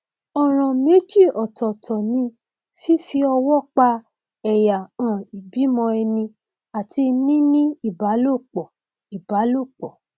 ọràn méjì ọtọọtọ ni fífi ọwọ pa ẹyà um ìbímọ ẹni àti níní ìbálòpọ ìbálòpọ